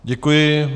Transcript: Děkuji.